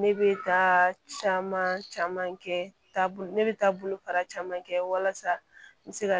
Ne bɛ taa caman caman kɛ taabolo ne bɛ taa bolofara caman kɛ walasa n bɛ se ka